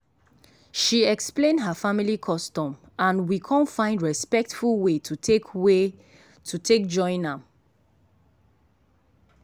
she explain her family custom and we con find respectful way to take way to take join am.